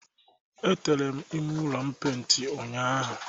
Etere m ime ụlọ m peint ụnyaahụ